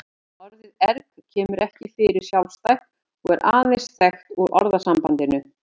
Orðið erg kemur ekki fyrir sjálfstætt og er aðeins þekkt úr orðasambandinu.